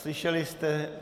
Slyšeli jste.